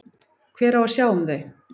Hver á að sjá um þau?